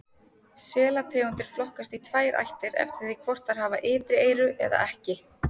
Selategundir flokkast í tvær ættir eftir því hvort þær hafa ytri eyru eða ekki.